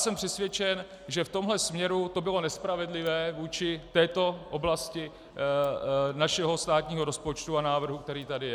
Jsem přesvědčen, že v tomto směru to bylo nespravedlivé vůči této oblasti našeho státního rozpočtu a návrhu, který tady je.